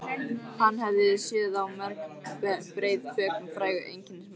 Hann hafði séð á mörg breið bök með frægu einkennismerki.